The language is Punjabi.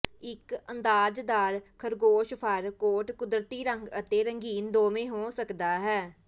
ਇੱਕ ਅੰਦਾਜ਼ਦਾਰ ਖਰਗੋਸ਼ ਫ਼ਰ ਕੋਟ ਕੁਦਰਤੀ ਰੰਗ ਅਤੇ ਰੰਗੀਨ ਦੋਵੇਂ ਹੋ ਸਕਦਾ ਹੈ